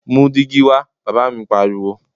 Mú dígí wa! Bàbá mi pariwo.